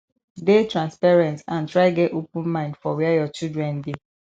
dey transparent and try get open mind for where your children dey